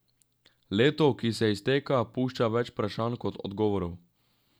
Leto, ki se izteka, pušča več vprašanj kot odgovorov.